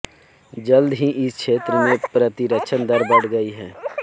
जल्द ही इस क्षेत्र में प्रतिरक्षण दर बढ़ गई